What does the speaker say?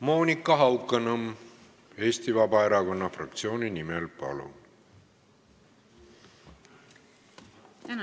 Monika Haukanõmm Eesti Vabaerakonna fraktsiooni nimel, palun!